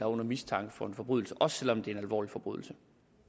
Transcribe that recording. under mistanke for en forbrydelse også selv om det er en alvorlig forbrydelse